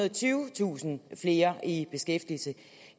og tyvetusind flere i beskæftigelse